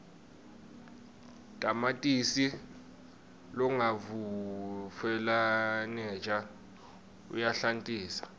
tamatisi longavutfwaneja uyahlantisa